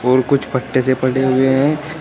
और कुछ पट्टे से पड़े हुए हैं।